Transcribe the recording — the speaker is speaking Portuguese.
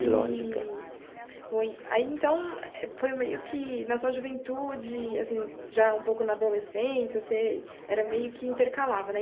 De lógica. Eee bom e aí então, foi meio que na sua juventude, assim, já um pouco na adolescência, você era meio que intercalava, né?